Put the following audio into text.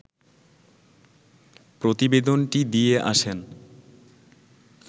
প্রতিবেদনটি দিয়ে আসেন